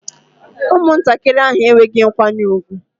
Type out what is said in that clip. Ụmụntakịrị ahụ enweghị nkwanye ùgwù